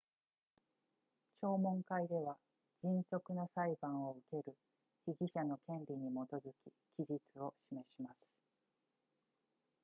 聴聞会では迅速な裁判を受ける被疑者の権利に基づき期日を示します